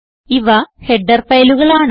ഇവ ഹെഡർ ഫയലുകളാണ്